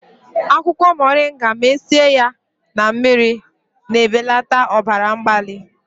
akwụkwọ moringa ma sie ya na mmiri, na-ebelata ọbara mgbali